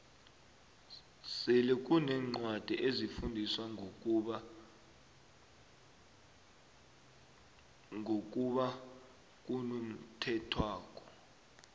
selekunencwadi ezifundisa ngokuba ngokuba ngonokhethwako